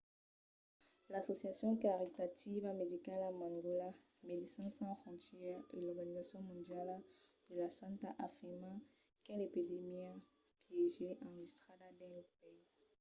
l'associacion caritativa medicala mangola médecins sans frontières e l'organizacion mondiala de la santat afirman qu'es l'epidèmia piéger enregistrada dins lo país